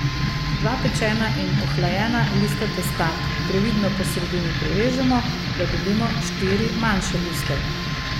Dva pečena in ohlajena lista testa previdno po sredini prerežemo, da dobimo štiri manjše liste.